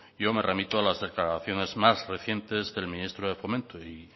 yo me remito a las declaraciones más recientes del ministro de fomento y